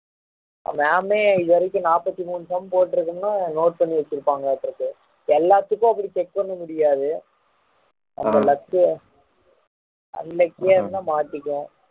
ma'am May இது வரைக்கும் நாப்பத்தி மூணு sum போட்டு இருக்கோம்னு note பண்ணி வச்சிருப்பாங்களாட்டுருக்கு எல்லாத்துக்கும் அப்படி check பண்ண முடியாது நம்ம luck அன்னைக்கா இருந்தா மாட்டிக்குவோம்